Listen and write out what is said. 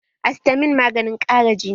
Astamin maganin ƙara jini ne